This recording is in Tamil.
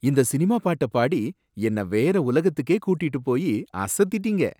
இந்த சினிமா பாட்ட பாடி, என்ன வேற உலகத்துக்கே கூட்டிட்டு போயி அசத்திட்டீங்க!